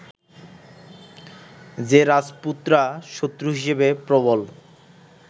যে রাজপুতরা শত্রু হিসাবে প্রবল